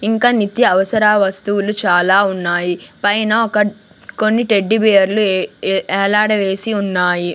ఇంక నిత్య అవసర వస్తువులు చాలా ఉన్నాయి పైన ఒక కొన్ని టెడ్డీబేర్లు ఎఎ వేలాడవేసి ఉన్నాయి.